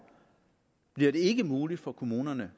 bliver det ikke muligt for kommunerne